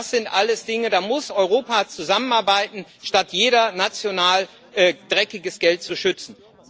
Das sind alles Dinge, da muss Europa zusammenarbeiten, und nicht jeder national dreckiges Geld schützen.